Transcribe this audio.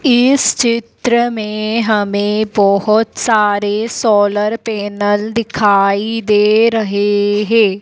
इस चित्र में हमें बहुत सारे सोलर पैनल दिखाई दे रहे हैं।